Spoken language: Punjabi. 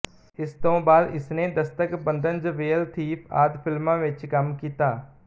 ਇਸ ਤੋਂ ਬਾਅਦ ਇਸਨੇ ਦਸਤਕ ਬੰਧਨ ਜਵੇਲ ਥੀਫ ਆਦਿ ਫ਼ਿਲਮਾਂ ਵਿੱਚ ਕੰਮ ਕੀਤ